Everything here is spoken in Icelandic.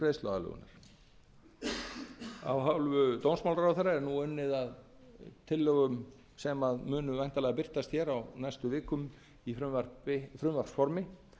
greiðsluaðlögunar af hálfu dómsmálaráðherra er nú unnið að tillögum sem munu væntanlega birtast hér á næstu vikum í frumvarpsformi